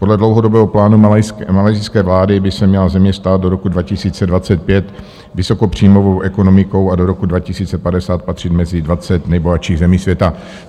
Podle dlouhodobého plánu malajsijské vlády by se měla země stát do roku 2025 vysokopříjmovou ekonomikou a do roku 2050 patřit mezi dvacet nejbohatších zemí světa.